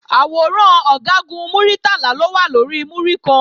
Àwòrán Ọ̀gágun Muritala ló wà lórí múríkan